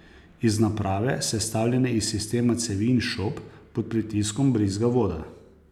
Iz naprave, sestavljene iz sistema cevi in šob, pod pritiskom brizga voda.